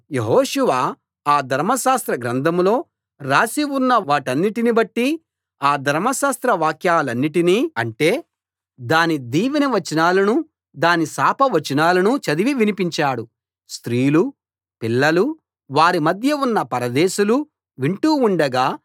యెహోషువ ఆ ధర్మశాస్త్ర గ్రంథంలో రాసి ఉన్న వాటన్నిటిని బట్టి ఆ ధర్మశాస్త్ర వాక్యాలన్నిటినీ అంటే దాని దీవెన వచనాలనూ దాని శాప వచనాలనూ చదివి వినిపించాడు స్త్రీలూ పిల్లలూ వారి మధ్య ఉన్న పరదేశులూ వింటూ ఉండగా